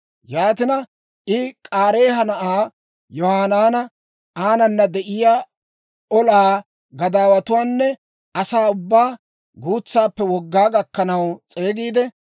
Yaatina, I K'aareeha na'aa Yohanaana, aanana de'iyaa olaa gadaawatuwaanne asaa ubbaa, guutsaappe wogaa gakkanaw s'eegiide,